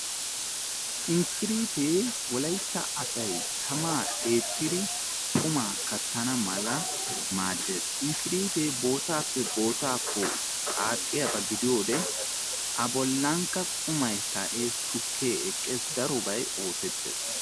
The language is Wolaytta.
Inkkiriitee wolayitta asay tamaa eettidi qumaa kattana mala maaddes, inkiriitee bootaappe bootaako qaaxxiyaaba gidiyoode abollankka qumay ka'es tukkee eqqes darobay oosettes